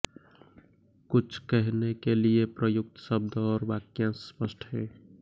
कुछ कहने के लिए प्रयुक्त शब्द और वाक्यांश स्पष्ट हैं